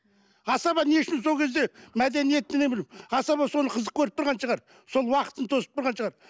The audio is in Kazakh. асаба не үшін сол кезде мәдениеттене білу асаба соны қызық көріп тұрған шығар сол уақытын созып тұрған шығар